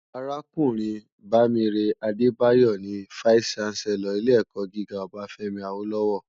Arákúrìn Bamire Adebayo ni fáìsí ṣánsèlòr ilé èkò gigá Obafemi Awolowo